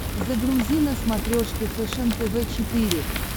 загрузи на смотрешке фэшен тв четыре к